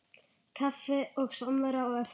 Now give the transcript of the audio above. Kaffi og samvera á eftir.